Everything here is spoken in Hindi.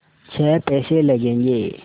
छः पैसे लगेंगे